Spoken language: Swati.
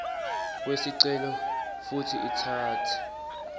kwesicelo futsi itsatse